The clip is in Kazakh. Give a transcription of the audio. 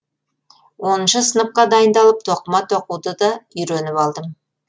оныншы сыныпқа дайындалып тоқыма тоқуды да үйреніп алдым